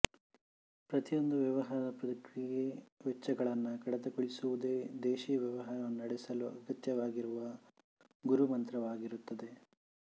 ಪ್ರತಿಯೊಂದು ವ್ಯವಹಾರ ಪ್ರಕ್ರಿಯೆ ವೆಚ್ಚಗಳನ್ನು ಕಡುತಗೊಳಿಸುವುದೇ ವ್ದೇಶಿ ವ್ಯವಹಾರವನ್ನು ನಡೆಸಲು ಅಗತ್ಯವಾಗಿರುವ ಗುರುಮಂತ್ರವಾಗಿರುತ್ತದೆ